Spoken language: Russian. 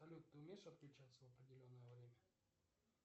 салют ты умеешь отключаться в определенное время